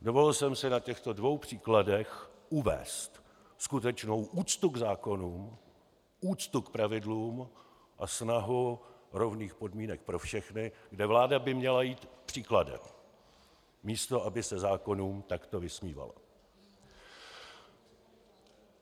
Dovolil jsem si na těchto dvou příkladech uvést skutečnou úctu k zákonům, úctu k pravidlům a snahu rovných podmínek pro všechny, kde vláda by měla jít příkladem, místo aby se zákonům takto vysmívala.